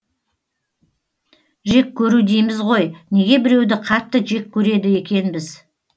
жек көру дейміз ғой неге біреуді қатты жек көреді екенбіз